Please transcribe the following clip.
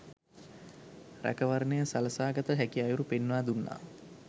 රැකවරණය සලසා ගත හැකි අයුරු පෙන්වා දුන්නා.